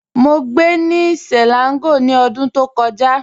Mọ́ gbẹ́ ni Selangor ni ọ̀dún tó kọja.